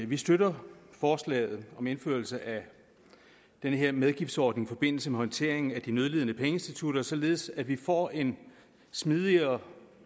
vi støtter forslaget om indførelse af den her medgiftsordning i forbindelse med håndteringen af de nødlidende pengeinstitutter således at vi får en smidigere